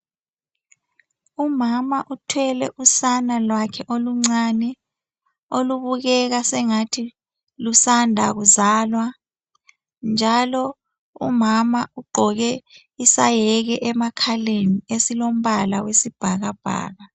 Umama uthwele usana lwakhe oluncane, olubukeka sengathi lusanda kuzalwa, njalo umama ugqoke isayeke emakhaleni esilombala oyisibhakabhaka.